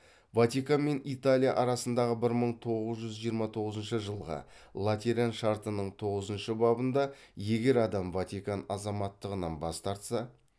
ватикан мен италия арасындағы бір мың тоғыз жүз жиырма тоғызыншы жылғы латеран шартының тоғызыншы бабында егер адам ватикан азаматтығынан бас тартса